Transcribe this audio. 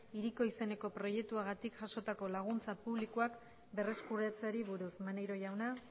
hiriko izeneko proiektuagatik jasotako laguntza publikoak berreskuratzeari buruz maneiro jauna